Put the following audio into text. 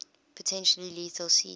potentially lethal speeds